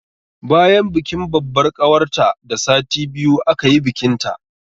Bayan bikin babbar ƙawarta da sati biyu aka yi bikinta